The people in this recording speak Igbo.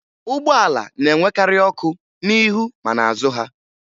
Ụgbọala na-enwekarị ọkụ n'ihu ma n'azụ ha